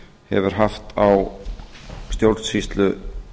hefur haft á stjórnsýslu